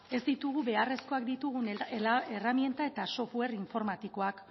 ez ditugu beharrezkoak ditugun erreminta eta software informatikoak